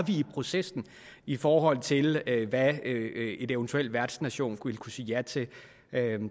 i processen i forhold til hvad en eventuel værtsnation ville kunne sige ja til